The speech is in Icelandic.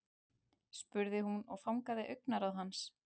spurði hún og fangaði augnaráð hans.